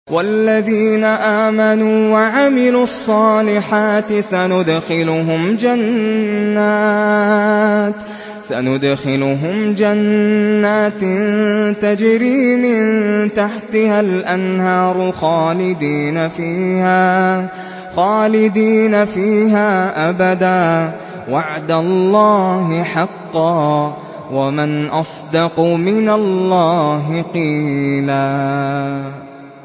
وَالَّذِينَ آمَنُوا وَعَمِلُوا الصَّالِحَاتِ سَنُدْخِلُهُمْ جَنَّاتٍ تَجْرِي مِن تَحْتِهَا الْأَنْهَارُ خَالِدِينَ فِيهَا أَبَدًا ۖ وَعْدَ اللَّهِ حَقًّا ۚ وَمَنْ أَصْدَقُ مِنَ اللَّهِ قِيلًا